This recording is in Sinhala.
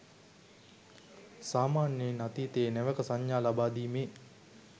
සාමාන්‍යයෙන් අතීතයේ නැවක සංඥා ලබාදීමේ